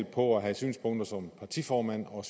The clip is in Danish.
på at have synspunkter som partiformand og